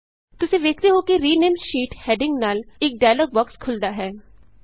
ਤੁਸੀਂ ਵੇਖਦੇ ਹੋ ਕਿ rename sheet rename sheet heading ਨਾਲ ਇਕ ਡਾਇਲੌਗ ਬੋਕਸ ਖੁਲ੍ਹਦਾ ਹੈ